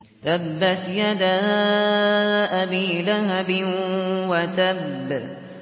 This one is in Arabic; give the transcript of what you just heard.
تَبَّتْ يَدَا أَبِي لَهَبٍ وَتَبَّ